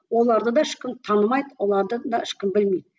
оларды да ешкім танымайды оларды да ешкім білмейді